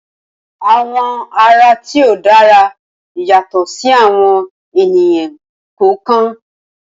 Awọn awọ ara ti o dara yatọ si awọn eniyan kọọkan.